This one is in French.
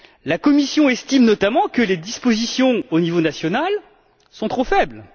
La Commission estime notamment que les dispositions au niveau national sont trop faibles.